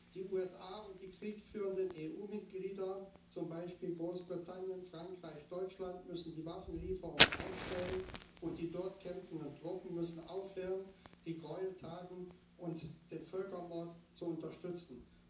Die USA und die kriegführenden EU Mitglieder zum Beispiel Großbritannien, Frankreich, Deutschland müssen die Waffenlieferungen einstellen, und die dort kämpfenden Truppen müssen aufhören, die Gräueltaten und den Völkermord zu unterstützen.